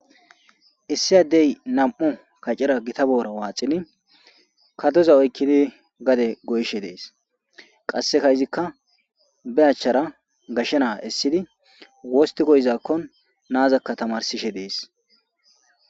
Issi addey nam'o kacera gita boora waaxini kadoza oykkidi gade goyshe dees qasse kayizikka be achchara gashshenaa issidi wosti goyizakkon naazakka tamarsishe dees.